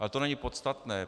Ale to není podstatné.